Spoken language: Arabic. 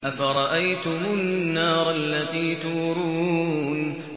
أَفَرَأَيْتُمُ النَّارَ الَّتِي تُورُونَ